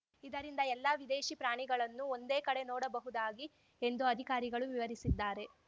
ಇದರಿಂದ ಎಲ್ಲ ವಿದೇಶಿ ಪ್ರಾಣಿಗಳನ್ನು ಒಂದೇ ಕಡೆ ನೋಡಬಹುದಾಗಿ ಎಂದು ಅಧಿಕಾರಿಗಳು ವಿವರಿಸಿದ್ದಾರೆ